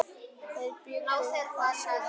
Þeir bjuggu þar síðan.